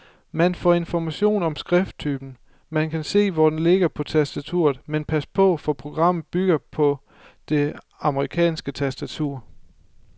Man får information om skrifttypen, man kan se, hvor den ligger på tastaturet, men pas på, for programmet bygger på det amerikanske tastatur.